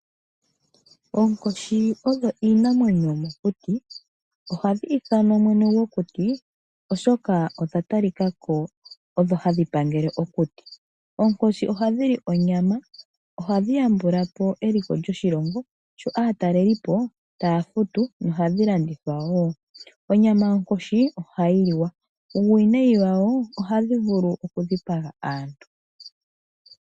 Onkoshi iinamwenyo yomokuti ohadhi ithanwa mwene gwokuti oshoka oya talikako oyo hayi pangʻle okuti. Ohayi hili aatalelipo yo ohayili onyama. Onyama yawo ohayi liwa, nuuwinayi wayo oha yili aantu.